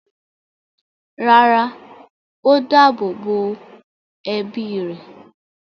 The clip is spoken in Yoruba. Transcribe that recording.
rárá, ó dáàbò bo ẹbí rẹ̀.